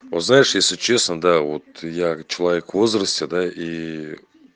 о знаешь если честно да вот я человек в возрасте да и